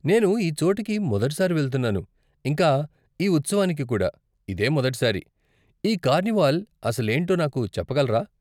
నేను ఈ చోటుకి మొదటిసారి వెళ్తున్నాను, ఇంకా ఈ ఉత్సవానికి కుడా ఇదే మొదటి సారి, ఈ కార్నివాల్ అసలేంటో నాకు చెప్పగలరా?